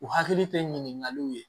U hakili tɛ ɲininkaliw ye